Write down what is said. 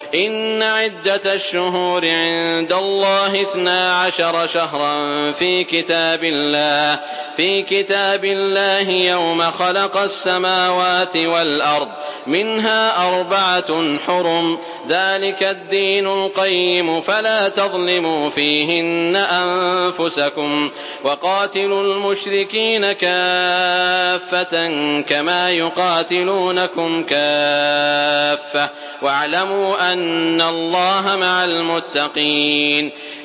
إِنَّ عِدَّةَ الشُّهُورِ عِندَ اللَّهِ اثْنَا عَشَرَ شَهْرًا فِي كِتَابِ اللَّهِ يَوْمَ خَلَقَ السَّمَاوَاتِ وَالْأَرْضَ مِنْهَا أَرْبَعَةٌ حُرُمٌ ۚ ذَٰلِكَ الدِّينُ الْقَيِّمُ ۚ فَلَا تَظْلِمُوا فِيهِنَّ أَنفُسَكُمْ ۚ وَقَاتِلُوا الْمُشْرِكِينَ كَافَّةً كَمَا يُقَاتِلُونَكُمْ كَافَّةً ۚ وَاعْلَمُوا أَنَّ اللَّهَ مَعَ الْمُتَّقِينَ